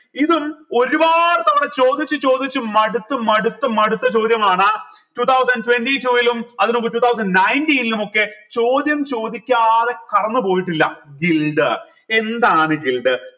ഇതും ഒരുപാടു തവണ ചോദിച്ച് ചോദിച്ച് മടുത്തു മടുത്തു മടുത്ത ചോദ്യമാണ് two thousand twenty two ഇലും അതിന്മുൻപ് two thousand ninteen ലുമൊക്കെ ചോദ്യം ചോദിക്കാതെ കടന്നു പോയിട്ടില്ല എന്താണ്